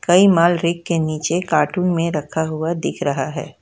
कई माल रेक के नीचे कार्टून में रखा हुआ दिख रहा है।